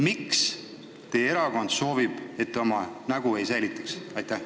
Miks teie erakond soovib, et te oma nägu ei säilitaks?